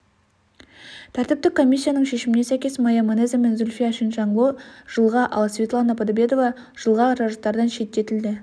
тәртіптік комиссияның шешіміне сәйкес майя манеза мен зульфия чиншанло жылға ал светлана подобедова жылға жарыстардан шеттетілді